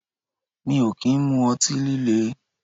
Mi ò kì ń mu ọtí líle